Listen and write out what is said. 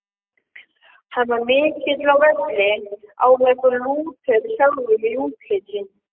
Hann var mikill á velli, áþekkur Lúter sjálfum í útliti.